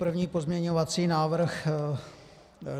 První pozměňovací návrh.